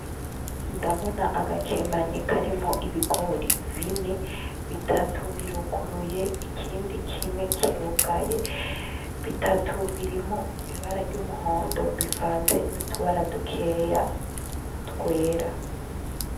Ndabona agakemanyi koarimo ibigori bine bitatu biruguruye ikindi kimwe kirugaye bitatu birimo ibara ry'umuhondo bivanze n'utubara dukeya twera.